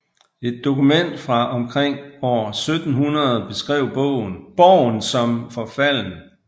Et dokument fra omkring år 1700 beskrev borgen som forfalden